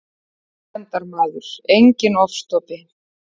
Friðsemdarmaður, enginn ofstopi.